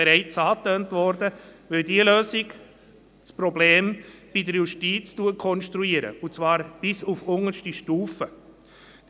Es ist nicht so, dass wir eine Luxus-Personalverordnung haben, sondern die Leute erbringen Spitzenleistungen und haben anständige Bedingungen verdient.